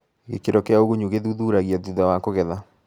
Gĩkĩro kĩa ũgunyu gĩthuthuragia thutha wa kũgetha.